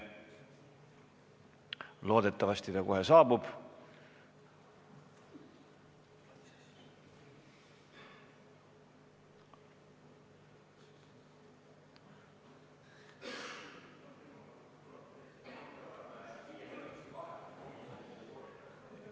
Loodetavasti ta kohe saabub.